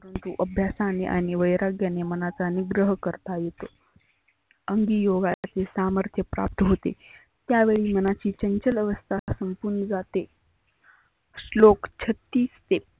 परंतु अभ्यासाने आणि वैराग्याने मनाचा निग्रह करता येतो. योगाचे सामर्थ्य प्राप्त होते. त्या वेळी मनाची चंचल अवस्था संपुन जाते. श्लोक छत्तीस ते